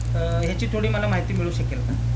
अ ह्याची थोडी मला माहिती मिळू शकेल का?